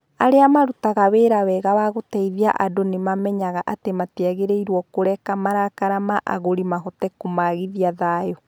Arĩa marutaga wĩra wega wa gũteithia andũ nĩ mamenyaga atĩ matiagĩrĩirũo kũreka marakara ma agũrĩ mahote kũmaagithia thayu.